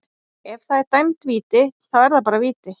Ef að það er dæmd víti, þá er það bara víti.